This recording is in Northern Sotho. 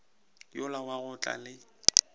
yola wa go tla le